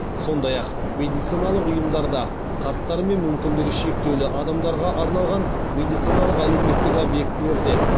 сондай ақ медициналық ұйымдарда қарттар мен мүмкіндігі шектеулі адамдарға арналған медициналық әлеуметтік объектілерде